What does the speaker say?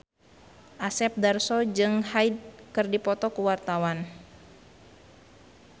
Asep Darso jeung Hyde keur dipoto ku wartawan